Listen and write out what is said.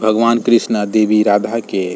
भगवान कृष्णा देवी राधा के --